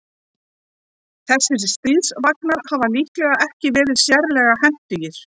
Þessir stríðsvagnar hafa líklega ekki verið sérlega hentugir.